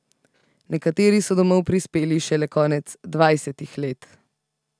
Nekateri so domov prispeli šele konec dvajsetih let.